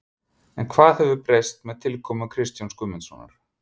En hvað hefur breyst með tilkomu Kristjáns Guðmundssonar?